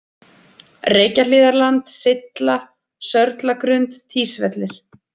Reykjahlíðarland, Sylla, Sörlagrund, Týsvellir